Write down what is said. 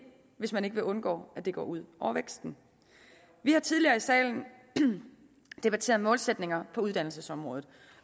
hvis man vil undgå at det går ud over væksten vi har tidligere i salen debatteret målsætninger på uddannelsesområdet